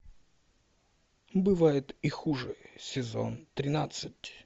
бывает и хуже сезон тринадцать